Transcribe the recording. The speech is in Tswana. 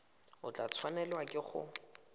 o tla tshwanelwa ke go